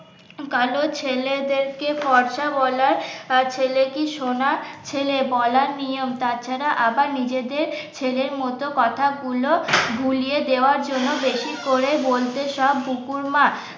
কালো ছেলে দের কে ফরসা বলা ছেলে কি সোনার ছেলে বলা নিয়ম তাছাড়া আবার নিজেদের ছেলের মত কথা গুলো ভুলিয়ে দেওয়ার জন্য বেশি করে বলছে সব বুকুর মা।